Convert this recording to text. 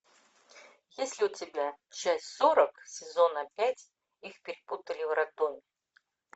есть ли у тебя часть сорок сезона пять их перепутали в роддоме